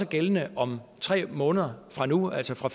gældende om tre måneder fra nu af altså fra